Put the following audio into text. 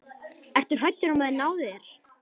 Ertu hræddur um að þeir nái þér?